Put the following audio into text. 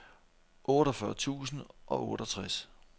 otteogfyrre tusind og otteogtres